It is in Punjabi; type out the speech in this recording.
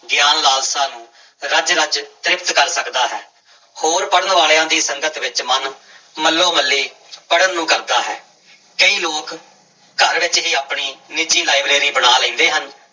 ਗਿਆਨ ਲਾਲਸਾ ਨੂੰ ਰਜ ਰਜ ਤ੍ਰਿਪਤ ਕਰ ਸਕਦਾ ਹੈ, ਹੋਰ ਪੜ੍ਹਨ ਵਾਲਿਆਂ ਦੀ ਸੰਗਤ ਵਿੱਚ ਮਨ ਮੱਲੋ ਮੱਲੀ ਪੜ੍ਹਨ ਨੂੰ ਕਰਦਾ ਹੈ, ਕਈ ਲੋਕ ਘਰ ਵਿੱਚ ਹੀ ਆਪਣੀ ਨਿੱਜੀ ਲਾਇਬ੍ਰੇਰੀ ਬਣਾ ਲੈਂਦੇ ਹਨ।